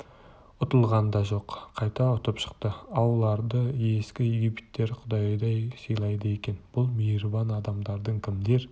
ұтылған да жоқ қайта ұтып шықты ауларды ескі египеттіктер құдайдай сыйлайды екен бұл мейірбан адамдардың кімдер